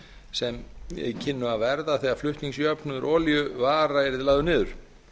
sem kynnu að verða þegar flutningsjöfnuður olíu var lagður niður